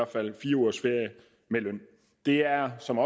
fald fire ugers ferie med løn det er som